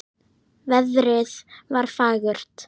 Veðrið var fagurt.